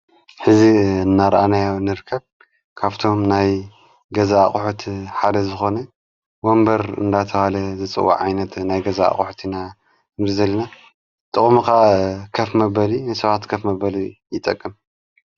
ሕዚ እናርኣናይ ንርከብ ካብቶም ናይ ገዛ ቕሑት ሓደ ዝኾነ ወንበር እንዳተዋለ ዘጽው ዓይነት ናይ ገዛ አቝሕትኢና እንሪዘልና ጥቕሙካ ከፍ መበሊ ንሥዋት ከፍ መበል ይጠቅም